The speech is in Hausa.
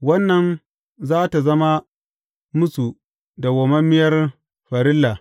Wannan za tă zama musu dawwammamiyar farilla.